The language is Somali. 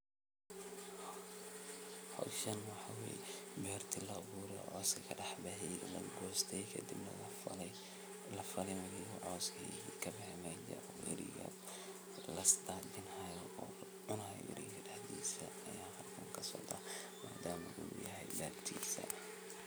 Howshan waxa weye berta laabura coski kadexbaxe kadibna lafalin oo wali coski kabexe uu ariga ladajinayo oo cunaya ayan arka madam uu yahay bertisa.